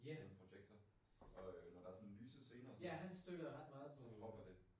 Projektor. Og øh når der er sådan lyse scener og sådan noget så så hopper det